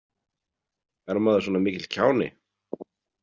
Er maður svona mikill kjáni?